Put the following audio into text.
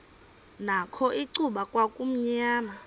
nakho icuba kwakumnyama